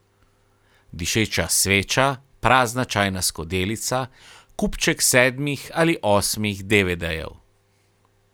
Dišeča sveča, prazna čajna skodelica, kupček sedmih ali osmih devedejev.